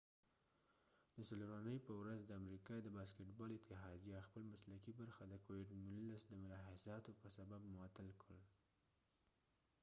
د څلورنی په ورځ د امریکا د باسکټ بال اتحادیه خپل مسلکې برخه د کوويد 19 د ملاحظاتو په سبب معطل کړ